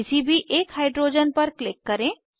किसी भी एक हाइड्रोजन पर क्लिक करें